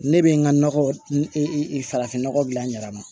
Ne bɛ n ka nɔgɔfin nɔgɔ dilan n yɛrɛ ma